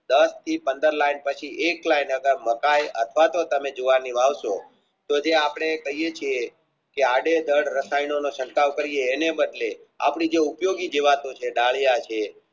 દસ થી પાણ્ડ લાયન એક લાયન આગલ મુકાય અથવાતો જે આપણે કહીયે છીએ કે આડેધડ રસાયણોનો સંતાવ કરીયે એની અંદર આપણી જે ઉપયોગી જીવતો છે દળિયા છે